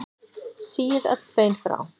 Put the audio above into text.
Síið öll bein frá.